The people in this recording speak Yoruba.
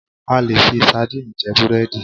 A lè fi sardinni jẹ búrẹ́dì